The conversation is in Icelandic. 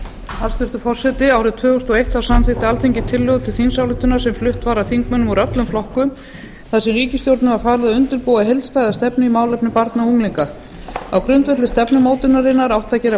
hæstvirtur forseti árið tvö þúsund og eitt samþykkti alþingi tillögu til þingsályktunar sem flutt var af þingmönnum úr öllum flokkum þar sem ríkisstjórninni var falið að undirbúa heildstæða stefnu í málefnum barna og unglinga á grundvelli stefnumótunarinnar átti að gera